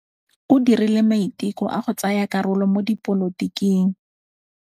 O dirile maitekô a go tsaya karolo mo dipolotiking.